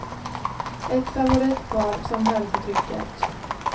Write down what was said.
Ett favoritpar som höll för trycket.